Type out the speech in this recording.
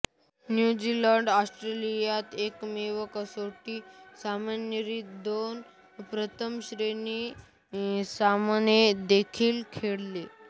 न्यूझीलंडने ऑस्ट्रेलियात एकमेव कसोटी सामन्याव्यतिरिक्त दोन प्रथमश्रेणी सामने देखील खेळले